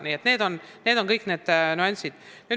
Nii et sellised on kõik need nüansid.